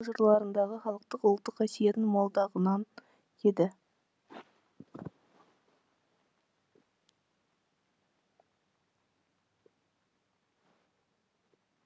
жырларындағы халықтық ұлттық қасиеттің молдығынан еді